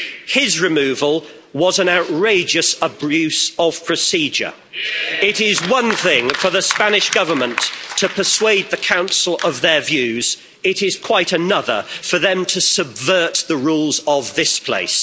His removal was an outrageous abuse of procedure. It is one thing for the Spanish Government to persuade the Council of their views. It is quite another for them to subvert the rules of this place.